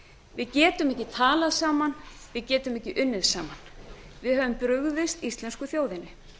við getum ekki talað saman við getum ekki unnið saman við höfum brugðist íslensku þjóðinni